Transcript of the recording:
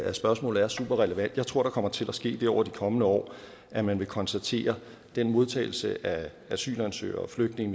at spørgsmålet er super relevant jeg tror der kommer til at ske det over de kommende år at man vil konstatere at den modtagelse af asylansøgere flygtninge